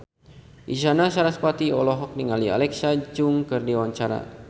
Isyana Sarasvati olohok ningali Alexa Chung keur diwawancara